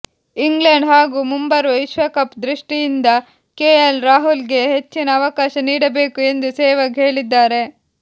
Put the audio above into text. England ಹಾಗೂ ಮುಂಬರುವ ವಿಶ್ವಕಪ್ ದೃಷ್ಟಿಯಿಂದ ಕೆಎಲ್ ರಾಹುಲ್ಗೆ ಹೆಚ್ಚಿನ ಅವಕಾಶ ನೀಡಬೇಕು ಎಂದು ಸೆಹ್ವಾಗ್ ಹೇಳಿದ್ದಾರೆ